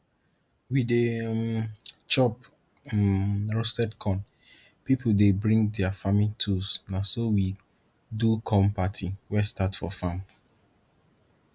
we dey um chop um roasted corn people dey bring dia farming tools na so we do corn party wey start for farm